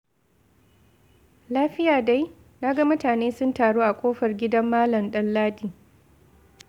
Lafiya dai? Na ga mutane sun taru a kofar gidan Malam Danladi.